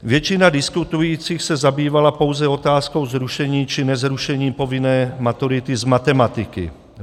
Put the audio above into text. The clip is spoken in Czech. Většina diskutujících se zabývala pouze otázkou zrušení či nezrušení povinné maturity z matematiky.